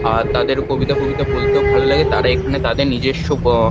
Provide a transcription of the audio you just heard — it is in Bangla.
আর তাদের কবিতা ফবিতা বলতেও ভালো লাগে। তারা এখানে তাদের নিজেস্ব গ--